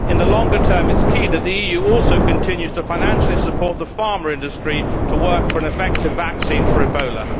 In the longer term it is key that the EU also continues to financially support the pharma industry to work for an effective vaccine for Ebola.